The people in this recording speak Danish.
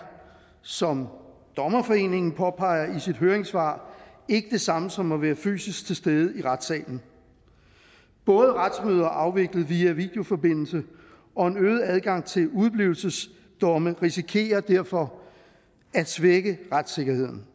som dommerforeningen påpeger i sit høringssvar ikke det samme som at være fysisk til stede i retssalen både retsmøder afviklet via en videoforbindelse og en øget adgang til udeblivelsesdomme risikerer derfor at svække retssikkerheden